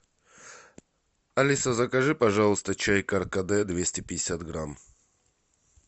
алиса закажи пожалуйста чай каркаде двести пятьдесят грамм